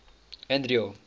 andro